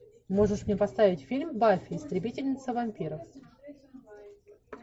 можешь мне поставить фильм баффи истребительница вампиров